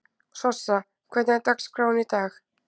Sossa, hvernig er dagskráin í dag?